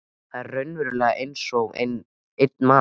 Þau eru raunverulega einsog einn maður.